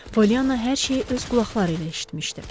Pollyana hər şeyi öz qulaqları ilə eşitmişdi.